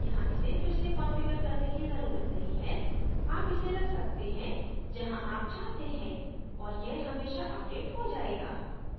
यहाँ इसे फिर से कंफिगर करने की जरूरत नहीं है आप इसे रख सकते हैं जहाँ आप चाहते हैं और यह हमेशा अपडेट हो जायेगा